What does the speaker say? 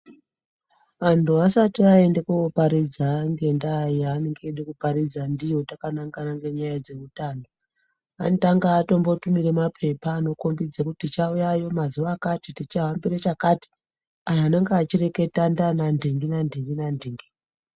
Vantu vasati vaenda koparidza ngenda yavanenge vachida kuparidza ndiyo Takanangana ngenyaya dzemitambo Anotanga vatunira mapepa akati tichauyayo mazuva akati tichahambira chakati anhu anenge achireketa ndivana ndingi nandingi nandingi.